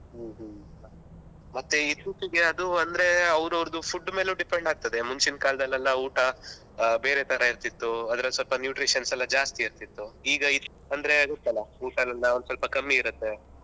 ಹ್ಮ್ಮ್ ಹ್ಮ್ಮ್ ಮತ್ತೆ ಈ ಅದು ಅಂದ್ರೆ ಅವ್ರವ್ರದು food ಮೇಲು depend ಆಗ್ತದೆ ಮುಂಚಿನ ಕಾಲದಲೆಲ್ಲ ಊಟ ಆ ಬೇರೆ ತರ ಇರ್ತಿತ್ತು ಅದರಲ್ಲಿ ಸ್ವಲ್ಪ nutritions ಎಲ್ಲ ಜಾಸ್ತಿ ಇರ್ತಿತ್ತು. ಈಗ ಇದ್~ ಅಂದ್ರೆ ಗೊತ್ತಲ್ಲ ಊಟ ಎಲ್ಲ ಒಂದ್ ಸ್ವಲ್ಪ ಕಮ್ಮಿ ಇರುತ್ತೆ.